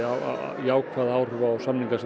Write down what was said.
jákvæð áhrif á samninga sem